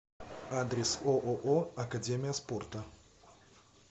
адрес ооо академия спорта